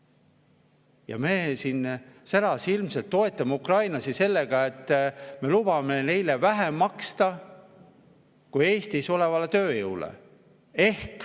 Ja me särasilmselt toetame ukrainlasi sellega, et me lubame neile vähem maksta, kui Eestis olevale tööjõule.